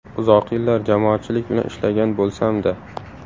Uzoq yillar jamoatchilik bilan ishlagan bo‘lsam-da.